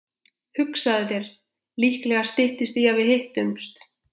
Hugsaðu þér, líklega styttist í að við hittumst.